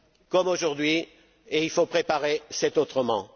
comme aujourd'hui et il faut préparer cet autrement.